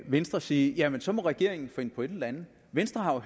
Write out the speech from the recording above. venstre sige jamen så må regeringen finde på et eller andet venstre er